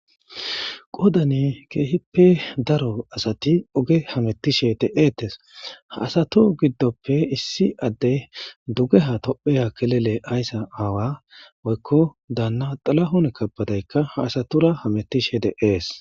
Qodan kehipe daro asati oge hametishe de'etes ha asati gidope issi adey dugeha topia kilile aysa awa woyko dana dhilahun kebedeyka hq asatura hametishe de'es.